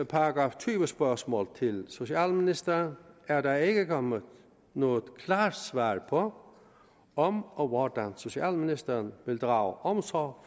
§ tyve spørgsmål til socialministeren er der ikke kommet noget klart svar på om og hvordan socialministeren vil drage omsorg